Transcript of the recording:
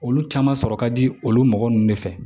Olu caman sɔrɔ ka di olu mɔgɔ ninnu de fɛ